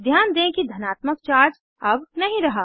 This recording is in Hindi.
ध्यान दें कि धनात्मक चार्ज अब नहीं रहा